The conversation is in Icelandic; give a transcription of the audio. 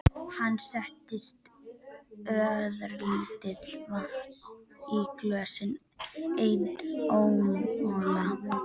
Hann setti örlítið vatn í glösin og einn ísmola.